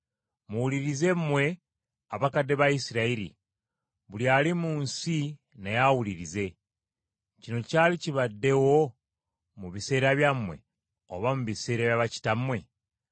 Muwulirize mmwe abakadde ba Isirayiri, buli ali mu nsi naye awulirize. Kino kyali kibaddewo mu biseera byammwe, oba mu biseera bya bakitammwe?